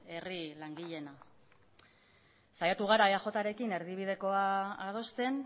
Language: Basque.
herri langileena saiatu gara eajrekin erdibidekoa adosten